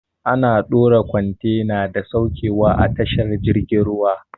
Ana dora kwantena da sauketa a tashar jirgin ruwa.